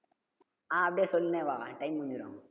ஆஹ் அப்டியே சொல்லிட்டே வா time முடிஞ்சுரும்